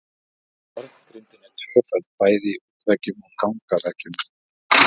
Járngrindin er tvöföld bæði í útveggjum og gangaveggjum.